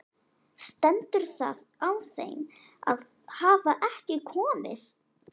Stendur það á þeim að hafa ekki komið?